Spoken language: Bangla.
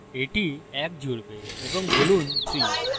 এটি এক জুড়বে এবং বলুন 3